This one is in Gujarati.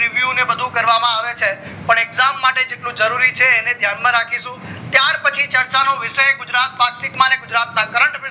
view ને એ બધું કરવામાં આવે છે પણ exam માટે જેટલું જરૂરી છે એને ધ્યાન માં રાખીશું ત્યારપછી ચર્ચા નો વિષય ગુજરાત પારસિક અને ગુજરાત ના current affairs